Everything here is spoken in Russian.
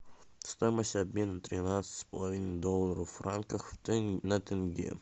стоимость обмена тринадцать с половиной долларов в франках на тенге